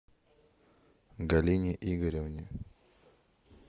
галине игоревне